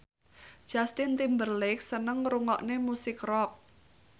Justin Timberlake seneng ngrungokne musik rock